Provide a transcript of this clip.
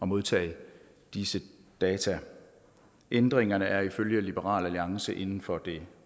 modtage disse data ændringerne er ifølge liberal alliance inden for det